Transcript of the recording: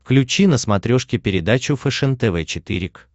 включи на смотрешке передачу фэшен тв четыре к